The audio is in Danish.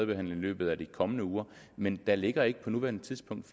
den i løbet af de kommende uger men der ligger ikke på nuværende tidspunkt